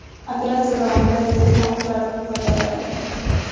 Operatsiya davomida rezina o‘qlardan foydalanilgan.